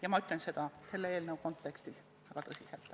Ja ma ütlen seda selle eelnõu kontekstis väga tõsiselt.